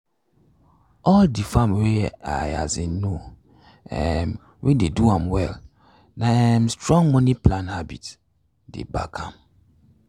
all d farm wey i um know um weye dey do well na um strong money plan habit dey back am.